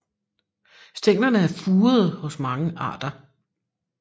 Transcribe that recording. Stænglerne er furede hos mange arter